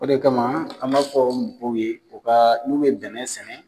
O de kama ,an b'a fɔ mɔgɔw ye u ka n'u ye bɛnɛn sɛnɛ